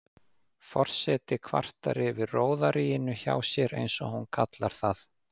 Forseti kvartar yfir róðaríinu hjá sér, eins og hún kallar það.